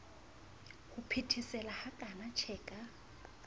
ho phethesela hakana tjhe ka